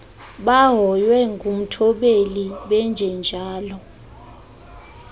bahoywe ngumthobeli benjenjalo